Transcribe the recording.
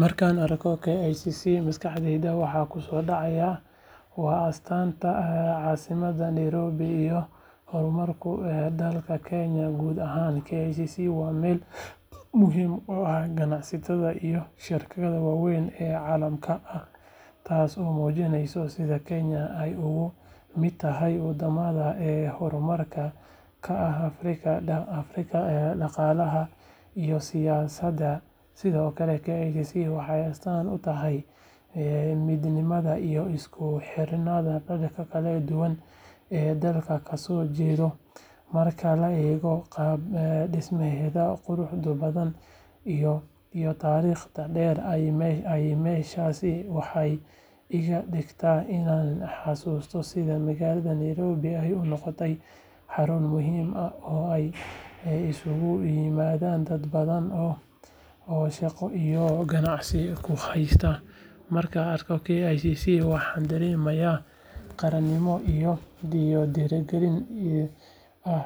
Markaan arko KICC maskaxdayda waxa ku soo dhacaya waa astaanta caasimada Nairobi iyo horumarka dalka Kenya guud ahaan KICC waa meel muhiim u ah ganacsiga iyo shirarka waaweyn ee caalamiga ah taasoo muujinaysa sida Kenya ay uga mid tahay wadamada hormuudka ka ah Afrika dhaqaalaha iyo siyaasadda sidoo kale KICC waxay astaan u tahay midnimada iyo isku xirnaanta dadka kala duwan ee dalka ka soo jeeda marka la eego qaab dhismeedka quruxda badan iyo taariikhda dheer ee meeshaasi waxay iga dhigtaa inaan xasuusto sida magaalada Nairobi ay u noqotay xarun muhiim ah oo ay isugu yimaadaan dad badan oo shaqo iyo ganacsi ku hawlan markaan arko KICC waxaan dareemaa qaranimo iyo dhiirigelin ah